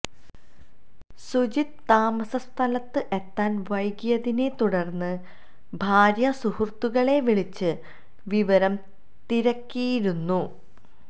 സുജിത്ത് താസമസ്ഥലത്ത് എത്താൻ വൈകിയതിനെ തുടർന്ന് ഭാര്യ സുഹൃത്തുക്കളെ വിളിച്ച് വിവരം തിരക്കിയിരുന്നു